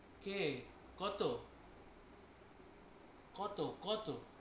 কে কতো? কতো কতো?